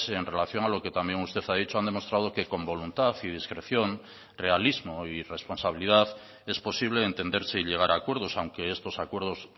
en relación a lo que también usted ha dicho han demostrado que con voluntad y discreción realismo y responsabilidad es posible entenderse y llegar a acuerdos aunque estos acuerdos